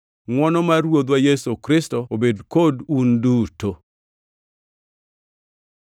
Ngʼwono mar Ruodhwa Yesu Kristo obed kodu un duto.